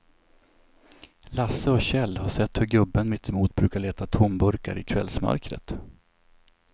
Lasse och Kjell har sett hur gubben mittemot brukar leta tomburkar i kvällsmörkret.